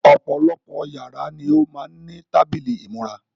Ọ̀pọ̀lọpọ̀ yàrá ni ó má ń ní tábìlì ìmúra.